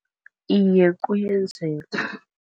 Iye, kuyenzeka.